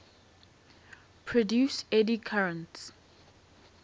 produce eddy currents